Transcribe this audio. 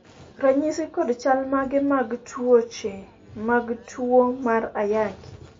ranyisi kod chal mage mag kute mag tuo mar ayaki